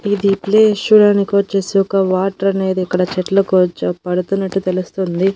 ఇది ప్లేస్ చూడడానికి వచ్చేసి ఒక వాటర్ అనేది ఇక్కడ చెట్లకు వచ పడుతున్నట్లు తెలుస్తుంది.